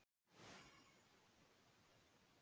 Gídeon, ferð þú með okkur á miðvikudaginn?